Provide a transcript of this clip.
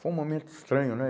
Foi um momento estranho, né?